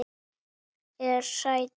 Hún er hrædd.